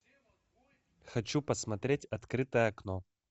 хочу посмотреть открытое окно